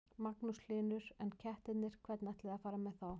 Magnús Hlynur: En kettirnir, hvernig ætlið þið að fara með þá?